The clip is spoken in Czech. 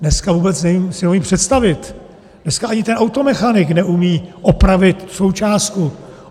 Dneska si vůbec neumím představit, dneska ani ten automechanik neumí opravit součástku.